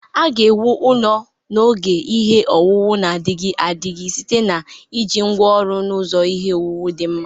A ga-ewu ụlọ ala n'oge ihe owuwu na-adịgide adịgide site na iji ngwa oru na ụzọ ihe owuwu di nma.